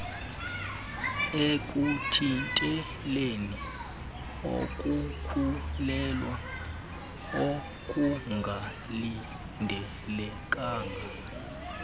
ekuthinteleni ukukhulelwea okungalindelekanga